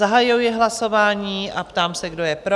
Zahajuji hlasování a ptám se, kdo je pro?